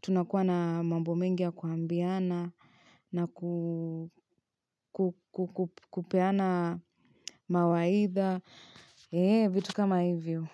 tunakuwa na mambo mengi ya kuambiana na kupeana mawaidha. Eee, vitu kama hivyo.